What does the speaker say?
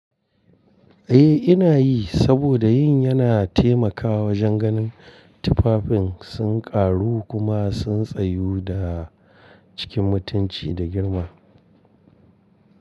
Eh ina yi saboda yin yana taimakawa wajen ganin tufafin sun ƙaru kuma sun tsayu da cikin mutunci da girma.